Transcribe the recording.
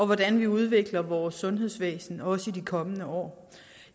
hvordan vi udvikler vores sundhedsvæsen også i de kommende år